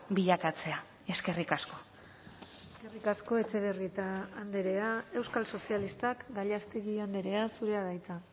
bilakatzea eskerrik asko eskerrik asko etxebarrieta andrea euskal sozialistak gallástegui andrea zurea da hitza